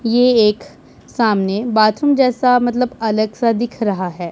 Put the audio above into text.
ये एक सामने बाथरूम जैसा मतलब अलग सा दिख रहा है।